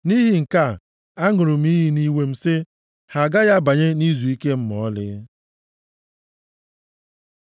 Nʼihi nke a, aṅụrụ m iyi nʼiwe, sị, ‘Ha agaghị abanye nʼizuike m ma ọlị.’ ”